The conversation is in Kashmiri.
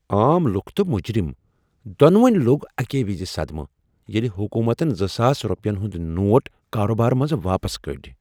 عام لوکھ تہٕ مجرم دۄنوٕنۍ لوٚگ اکی وزِ صدمہٕ ییٚلہ حکومتن زٕ ساس رۄپین ہٕندۍ نوٹ کاروبارٕ منزٕ واپس کٔڈۍ